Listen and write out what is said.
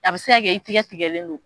A bɛ se ka kɛ i tigɛ tigɛlen don.